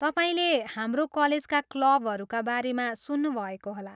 तपाईँले हाम्रो कलेजका क्लबहरूका बारेमा सुन्नुभएको होला।